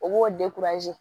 O b'o